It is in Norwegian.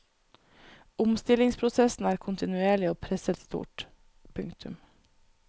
Omstillingsprosessen er kontinuerlig og presset stort. punktum